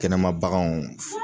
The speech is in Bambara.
Kɛnɛma baganw.